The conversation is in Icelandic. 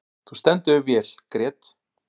Þú stendur þig vel, Grét!